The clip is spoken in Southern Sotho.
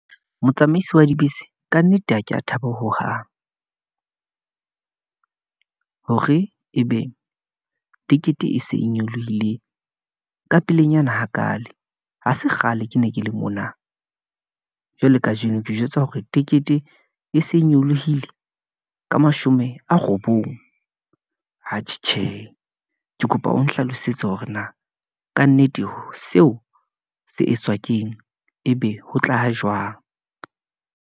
Motsamaisi wa dibese ka nnete ha ke a thaba hohang , hore ebe tikete e se e nyolohile ka pelenyana hakale, ha se kgale ke ne ke le mona . Jwalo kajeno ke jwetswa hore tekete e se nyolohile, ka mashome a robong, atjhe. Tjhe, ke kopa o nhlalosetse hore na kannete seo se etswa keng, ebe ho tla ha jwang.